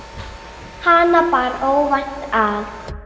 Hana bar óvænt að.